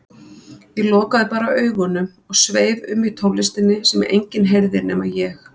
Ég lokaði bara augunum og sveif um í tónlistinni sem enginn heyrði nema ég.